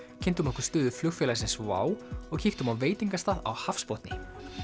kynntum okkur stöðu flugfélagsins WOW air og kíktum á veitingastað á hafsbotni